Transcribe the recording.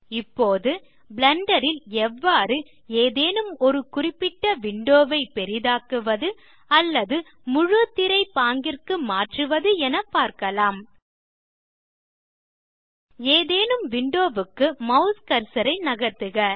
இப்போது பிளெண்டர் ல் எவ்வாறு ஏதேனும் ஒரு குறிப்பிட்ட விண்டோ ஐ பெரிதாக்குவது அல்லது முழு திரை பாங்கிற்கு மாற்றுவது என பார்க்கலாம் ஏதேனும் விண்டோ க்கு மாஸ் கர்சர் ஐ நகர்த்துக